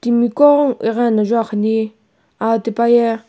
miqo igheno juakhani aa tipaye.